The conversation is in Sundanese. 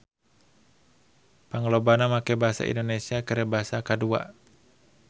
Panglobana make basa Indonesia keur basa kadua